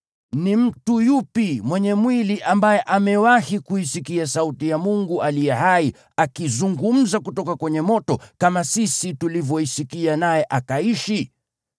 Ni mtu yupi mwenye mwili ambaye amewahi kuisikia sauti ya Mungu aliye hai akizungumza kutoka kwenye moto, kama sisi tulivyoisikia, naye akaishi?